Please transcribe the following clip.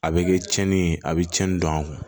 A bɛ kɛ tiɲɛni ye a bɛ cɛnnin don aw kun